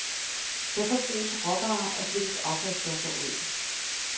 Der forbruges råvarer og slippes affaldsstoffer ud.